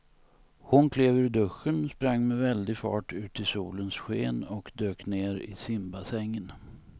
Hon klev ur duschen, sprang med väldig fart ut i solens sken och dök ner i simbassängen.